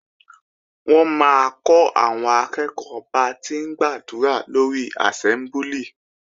Wọ́n máa kọ́ àwọn akẹ́ẹ̀kọ́ ba ti ń gbàdúrà lórí àsẹ́mbúlì